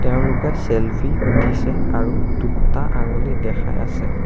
এওঁলোকে চেল্ফি উঠিছে আৰু দুটা আঙুলি দেখাই আছে।